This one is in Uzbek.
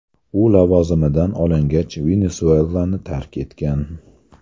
U lavozimidan olingach, Venesuelani tark etgan.